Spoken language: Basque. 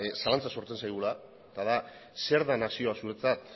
zalantza sortzen zaigula eta da zer da nazioa zuretzat